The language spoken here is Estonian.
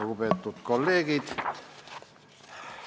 Lugupeetud kolleegid!